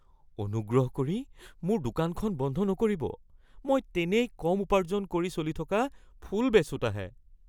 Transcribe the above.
অনুগ্ৰহ কৰি মোৰ দোকানখন বন্ধ নকৰিব। মই তেনেই কম উপাৰ্জন কৰি চলি থকা ফুল বেচোঁতাহে।